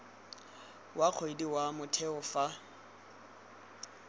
wa kgwedi wa motheo fa